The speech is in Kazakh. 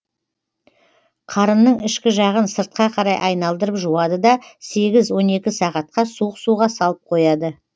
қарынның ішкі жағын сыртқа қарай айналдырып жуады да сегіз он екі сағатқа суық суға салып қояды